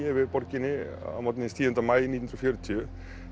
yfir borginni að morgni tíunda maí nítján hundruð fjörutíu